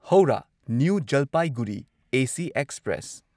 Howrah new Jalpaiguri AC express